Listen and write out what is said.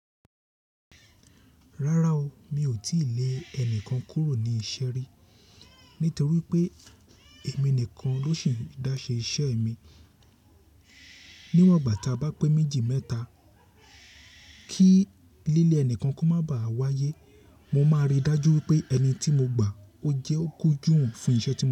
Rárá o, mi ò tíì lé ẹnikan kúrò ní iṣẹ́ rí, nítorí pé èmi nìkan ló ṣì ń dá ṣe iṣẹ́ mi. Níwọ̀n ìgbà ta bá pé méjì mẹ́ta kí líle ẹnikan kó maá ba à wáyé, mo máa rí i dájú wipé ẹni tí mo gbà ó jẹ́ ó kunjúwon fún iṣẹ́ ti.